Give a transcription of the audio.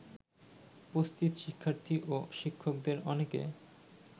উপস্থিত শিক্ষার্থী ও শিক্ষকদের অনেকে